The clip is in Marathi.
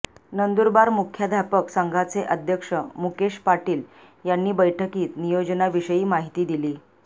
नंदुरबार मुख्याध्यापक संघाचे अध्यक्ष मुकेश पाटील यांनी बैठकीत नियोजनाविषयी माहिती दिली